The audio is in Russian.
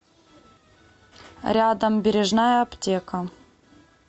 рядом бережная аптека